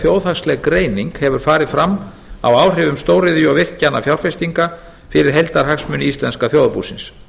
þjóðhagsleg greining hefur farið fram á áhrifum stóriðju og virkjanafjárfestinga fyrir heildarhagsmuni íslenska þjóðarbúsins